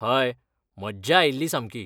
हय! मज्जा आयिल्ली सामकी.